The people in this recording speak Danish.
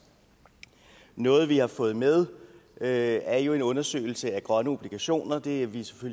noget vi har fået med er jo en undersøgelse af grønne obligationer og det er vi